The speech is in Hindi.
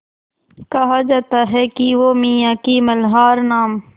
कहा जाता है कि वो मियाँ की मल्हार नाम